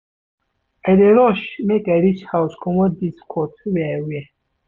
I dey rush make I reach house comot dis coat wey I wear.